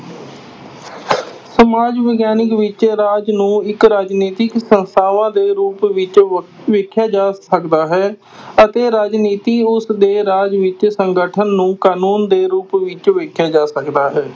ਸਮਾਜ ਵਿਗਆਨਕ ਵਿਚ ਰਾਜ ਨੂੰ ਇਕ ਰਾਜਨੀਤਿਕ ਸੰਸਥਾਵਾਂ ਦੇ ਰੂਪ ਵਿਚ ਵ ਵੇਖਿਆ ਜਾ ਸਕਦਾ ਹੈ ਅਤੇ ਰਾਜਨੀਤੀ ਉਸ ਦੇ ਰਾਜ ਵਿੱਚ ਸੰਗਠਨ ਨੂੰ ਕਾਨੂੰਨ ਦੇ ਰੂਪ ਵਿੱਚ ਵੇਖਿਆ ਜਾ ਸਕਦਾ ਹੈ।